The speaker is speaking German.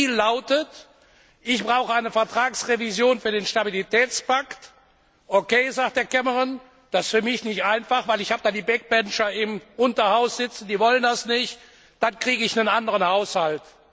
Der Deal lautet Ich brauche eine Vertragsrevision für den Stabilitätspakt. OK, sagt Cameron, das ist für mich nicht einfach, weil ich da Hinterbänkler im Unterhaus sitzen haben, die wollen das nicht, dann kriege ich einen anderen Haushalt.